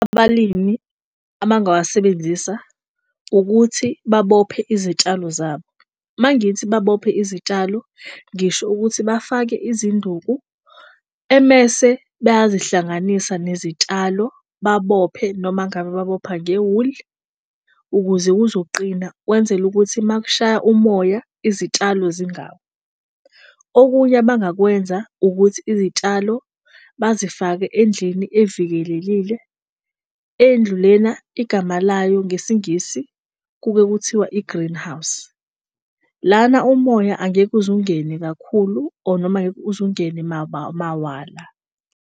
Abalimi abangawasebenzisa ukuthi babophe izitshalo zabo, mangithi babophe izitshalo ngisho ukuthi bafake izinduku. Emese bayazihlanganisa nezitshalo babophe noma ngabe babopha ngewuli ukuze kuzoqina kwenzele ukuthi uma kushaya umoya izitshalo zingawi. Okunye abangakwenza ukuthi izitshalo bazifake endlini evikelelile endlu lena igama layo ngesiNgisi kube kuthiwa i-greenhouse. Lana umoya angeke uzungene kakhulu or noma angeke uzungene mawala.